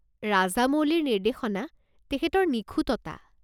ৰাজামৌলিৰ নিৰ্দেশনা, তেখেতৰ নিখুঁততা।